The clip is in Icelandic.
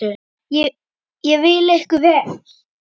Ég vil ykkur vel.